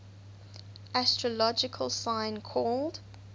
astrological sign called